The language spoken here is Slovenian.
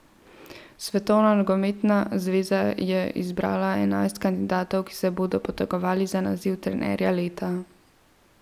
Svetovna nogometna zveza je izbrala enajst kandidatov, ki se bodo potegovali za naziv trenerja leta.